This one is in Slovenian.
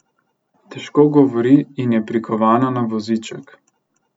Težko govori in je prikovana na voziček.